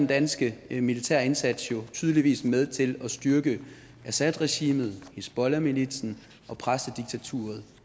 danske militærindsats jo tydeligvis med til at styrke assadregimet hizbollahmilitsen og præstediktaturet